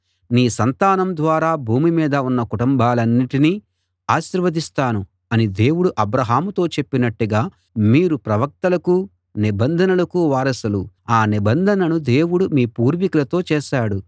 నీ సంతానం ద్వారా భూమి మీద ఉన్న కుటుంబాలన్నిటినీ ఆశీర్వదిస్తాను అని దేవుడు అబ్రాహాముతో చెప్పినట్టుగా మీరు ప్రవక్తలకూ నిబంధనకూ వారసులు ఆ నిబంధనను దేవుడు మీ పూర్వికులతో చేశాడు